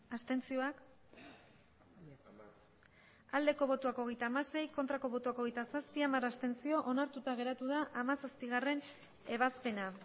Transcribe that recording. abstentzioa hogeita hamasei bai hogeita zazpi ez hamar abstentzio onartuta geratu da hamazazpigarrena ebazpena